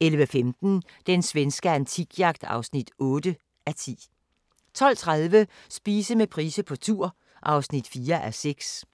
11:15: Den svenske antikjagt (8:10) 12:30: Spise med Price på tur (4:6)